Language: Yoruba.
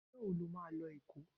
Ọjọ́ wo ni o máa lọ Èkó?